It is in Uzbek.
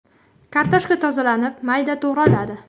Kartoshka tozalanib, mayda to‘g‘raladi.